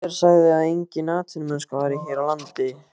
Hver sagði svo að engin atvinnumennska væri hér á landi?